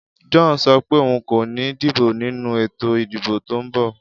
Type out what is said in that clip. John so pé oun kò ni dìbò nínú ètò ìdìbò to n bò